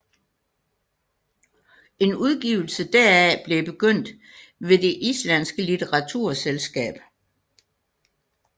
En udgivelse deraf blev begyndt ved det islandske litteraturselskab